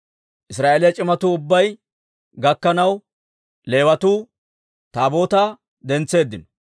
Israa'eeliyaa c'imatuu ubbay gakkanaw, Leewatuu Taabootaa dentseeddino.